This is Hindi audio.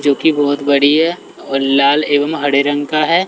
जोकि बहोत बड़ी है और लाल एवं हरे रंग का है।